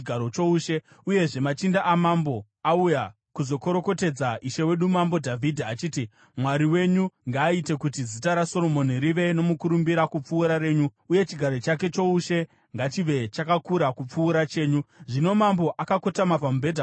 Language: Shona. Uyezve, machinda amambo auya kuzokorokotedza ishe wedu Mambo Dhavhidhi achiti, ‘Mwari wenyu ngaaite kuti zita raSoromoni rive nomukurumbira kupfuura renyu, uye chigaro chake choushe ngachive chakakura kupfuura chenyu!’ Zvino mambo akotama pamubhedha pake akanamata,